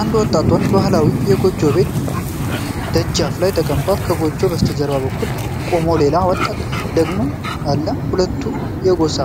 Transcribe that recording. አንድ ወጣት ወንድ በባህላዊ የጎጆ ቤት ደጃፍ ላይ ተቀምጧል። ከጎጆው በስተቀኝ በኩል ቆሞ ሌላ ወጣት ወንድ ደግሞ አለ። ሁለቱም የጎሳ